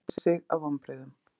Gunni gretti sig af vonbrigðum.